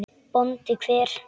BÓNDI: Hver?